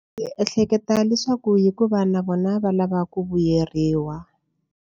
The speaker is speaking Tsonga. Ndzi ehleketa leswaku hikuva na vona va lava ku vuyeriwa.